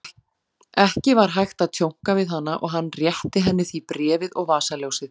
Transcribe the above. Ekki var hægt að tjónka við hana og hann rétti henni því bréfið og vasaljósið.